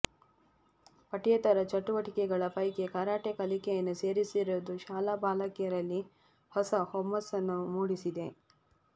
ಪಠ್ಯೇತರ ಚಟುವಟಿಕೆಗಳ ಪೈಕಿ ಕರಾಟೆ ಕಲಿಕೆಯನ್ನು ಸೇರಿಸಿರುವುದು ಶಾಲಾ ಬಾಲಕಿಯರಲ್ಲಿ ಹೊಸ ಹುಮ್ಮಸ್ಸುಮೂಡಿಸಿದೆ